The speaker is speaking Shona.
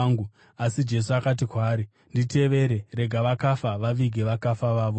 Asi Jesu akati kwaari, “Nditevere, rega vakafa vavige vakafa vavo.”